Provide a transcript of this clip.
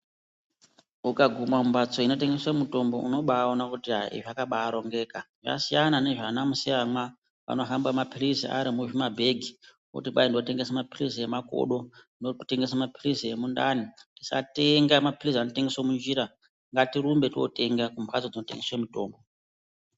Ukaguma mumbatso inotengesa mitombo unobaona kuti izvi zvakabarongeka zvasiyana nezva ana musiyamwa vanohamba mapirizi Ari muzvimabhegi otikwai ndotengesa mapirizi emakodo kana ndinotengesa mapirizi emundani tisatenga mapirizi anotengeswa munjira ngatirumbei totenga kumbatso dzinotengeswa mitombo.